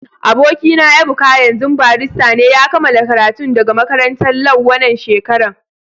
Aboki na Ebuka, yanzun barista ne. Ya kamala karatun daga makarantan Lau wanan shekaran.